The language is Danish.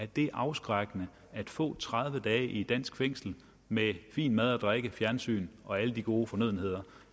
det afskrækkende at få tredive dage i et dansk fængsel med fin mad og drikke og fjernsyn og alle de gode fornødenheder